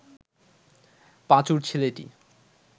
পাঁচুর ছেলেটি